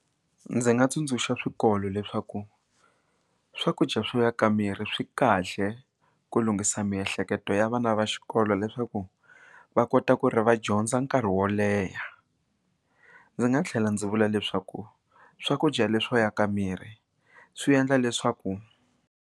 Ndzi nga tsundzuxa swikolo leswaku swakudya swo yaka miri swi kahle ku lunghisa miehleketo ya vana va xikolo leswaku va kota ku ri va dyondza nkarhi wo leha ndzi nga tlhela ndzi vula leswaku swakudya leswo yaka miri swi endla leswaku.